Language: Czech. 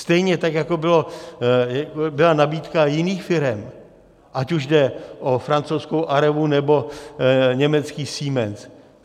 Stejně tak jako byla nabídka jiných firem, ať už jde o francouzskou Arevu, anebo německý Siemens.